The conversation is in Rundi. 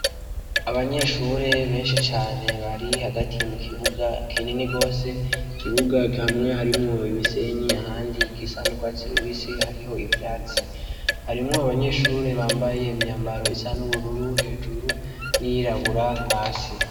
Abanyeshure benshi cane bari hagati mukibuga kinini gose, ikibuga hamwe harimwo umusenyi ,ahandi gusa n'urwatsi rubisi hariho ivyatsi, harimwo abanyeshure bambaye imyambaro isa n'ubururu hejuru, n'iyirabura hasi.